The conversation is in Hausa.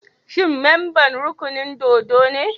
Shi memban rukunin dōdo ne?